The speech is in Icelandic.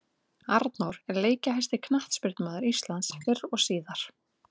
Arnór er leikjahæsti knattspyrnumaður Íslands fyrr og síðar.